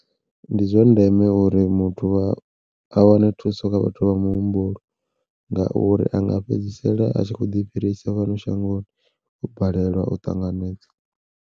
Ndi zwa ndeme uri muthu a wane thuso kha vhathu vha muhumbulo ngauri anga fhedzisela a tshi kho ḓi fhirisa fhano shangoni o balelwa u ṱanganedza.